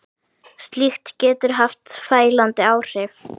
Slíkt getur haft fælandi áhrif.